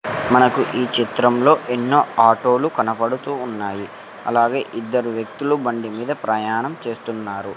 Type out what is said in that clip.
మనకు ఈ చిత్రంలో ఎన్నో ఆటోలు కనబడుతూ ఉన్నాయి అలాగే ఇద్దరు వ్యక్తులు బండిమీద ప్రయాణం చేస్తున్నారు.